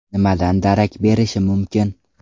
Nimadan darak berishi mumkin?